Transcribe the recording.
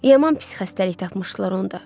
Yaman pis xəstəlik tapmışdılar onda.